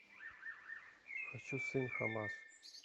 хочу сын хамас